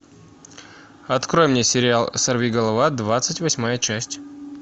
открой мне сериал сорвиголова двадцать восьмая часть